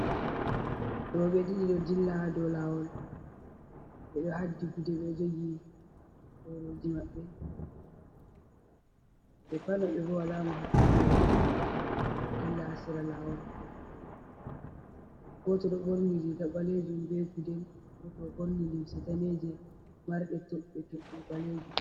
Rowɓe ɗiɗo ɗo ndilla dow laawol, ɓe ɗo haddi gude, be jogi borooji maɓɓe ɓe pat maɓɓe. Wola mo haɓɓi ɗankooli, ɓe ɗo dilla sera laawol. Gooto ɗo ɓorni riga baleejum be gudel ,gooto borni limse daneeje marɗe toɓɓe toɓɓe baleejum.